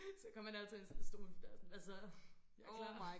Så kom han altid ind sådan stod i min dør sådan hvad så jeg klar